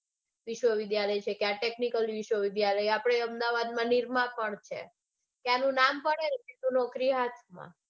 વિશ્વવિદ્યાલય છે કે આ technical વિશ્વવિદ્યાલય છે આપડે અમદાવાદમાં નિરમા પણ છે ત્યાંનું નામ પડેને એટલે નોકરી હાથમાં.